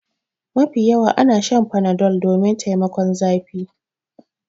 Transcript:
Mafi yawa ana Shan Panadol domin taimakon zafi.